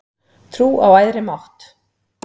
Trú á æðri mátt